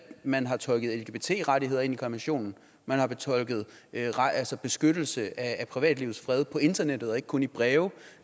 man har tolket lgbt rettigheder ind i konventionen man har tolket beskyttelse af privatlivets fred på internettet og ikke kun i breve